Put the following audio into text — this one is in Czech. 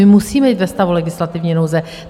My musíme jít ve stavu legislativní nouze.